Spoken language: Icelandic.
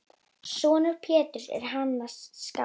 Sonur Péturs er Hannes skáld.